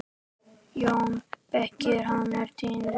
JÓN BEYKIR: Hann er týndur!